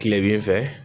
Kile bin fɛ